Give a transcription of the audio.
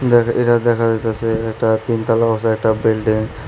দেখ এডা দেখা যাইতাছে একটা তিনতলা বাসা একটা বিল্ডিং ।